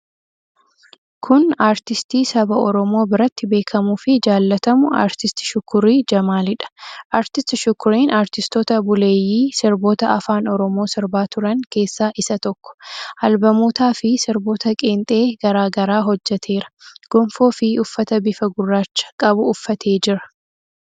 Kun aartistii saba Oromoo biratti beekamuufi jaallatamu Aartist Shukurii Jamaaliidha. Aartist Shukuriin aartistoota buleeyyii sirboota afaan Oromoo sirbaa turan keessaa isa tokko. Albamootaafi sirboota qeenxee garaa garaa hojjeteera. Gonfoofi uffata bifa gurraacha qabu uffatee jira.